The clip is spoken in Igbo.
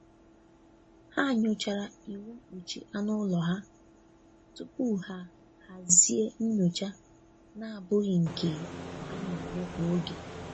Ha nyochara iwu mkpuchi anụ ụlọ ha tupu ha hazie nyocha na-abụghị nke a na-eme kwa oge.